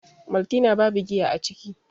maltina babu giya a ciki